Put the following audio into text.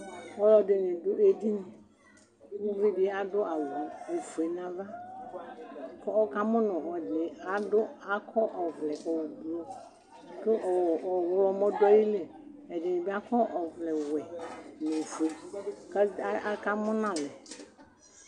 Ɔlɔ dɩnɩ